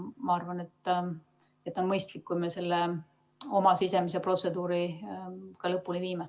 Ma arvan, et on mõistlik, kui me selle oma sisemise protseduuri ka lõpule viime.